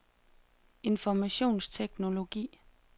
informationsteknologi